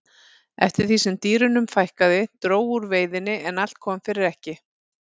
eftir því sem dýrunum fækkaði dró úr veiðinni en allt kom fyrir ekki